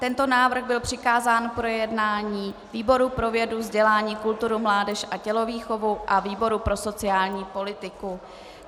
Tento návrh byl přikázán k projednání výboru pro vědu, vzdělání, kulturu, mládež a tělovýchovu a výboru pro sociální politiku.